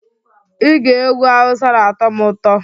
Ige egwu Hausa na-atọ m ụtọ